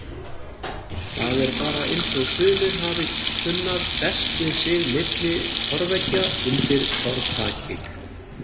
Það er bara eins og sumir hafi kunnað best við sig milli torfveggja undir torfþaki.